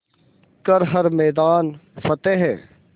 कर हर मैदान फ़तेह